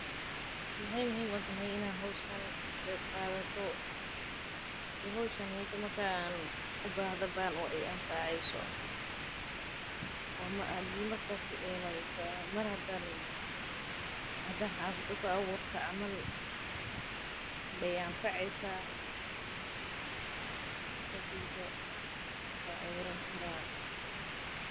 Maxeey muhiim utahay in aad howshan ka qeyb qaato waay i anfaceysa mar hadaan xafada ku abuurto waay i anfaceysa.